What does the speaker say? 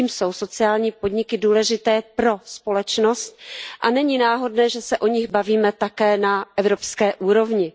Tím jsou sociální podniky důležité pro společnost a není náhodné, že se o nich bavíme také na evropské úrovni.